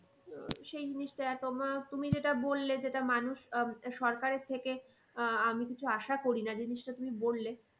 সেই জিনিসটা তোমার তুমি যেটা বললে যেটা মানুষ আহ সরকারের থেকে আহ আমি কিছু আশা করি না জিনিসটা তুমি বললে